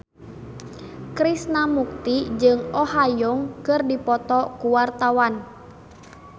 Krishna Mukti jeung Oh Ha Young keur dipoto ku wartawan